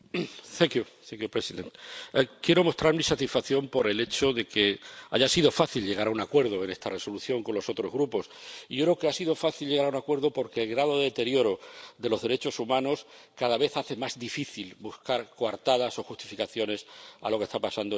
Señor presidente, quiero mostrar mi satisfacción por el hecho de que haya sido fácil llegar a un acuerdo en esta propuesta de Resolución con los otros grupos, y yo creo que ha sido fácil llegar a un acuerdo porque el grado de deterioro de los derechos humanos cada vez hace más difícil buscar coartadas o justificaciones a lo que está pasando en Turquía.